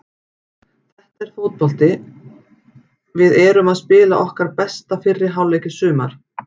Þetta er fótbolti við erum að spila okkar besta fyrri hálfleik í sumar.